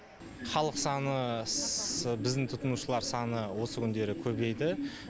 халық саны біздің тұтынушылар саны осы күндері көбейді